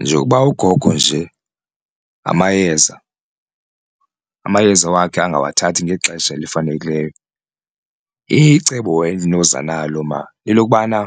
Njengokuba ugogo nje amayeza amayeza wakhe angawathathi ngexesha elifanelekileyo icebo endinoza nalo lelobana